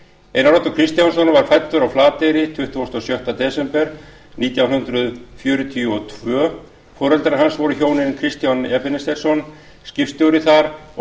einar oddur kristjánsson var fæddur á flateyri tuttugasta og sjötta desember nítján hundruð fjörutíu og tveir foreldrar hans voru hjónin kristján ebenezersson skipstjóri þar og